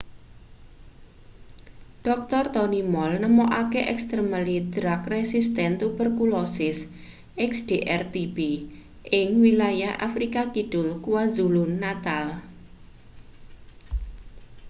dr. tony moll nemokake extremely drug resistant tuberculosis xdr-tb ing wilayah afrika kidul kwazulu-natal